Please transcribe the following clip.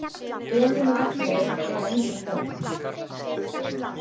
Elín og Ragnheiður eiga engin börn.